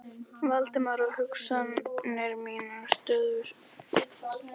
Valdimar, og hugsanir mínar stöðvuðust við ferð okkar til Íslands.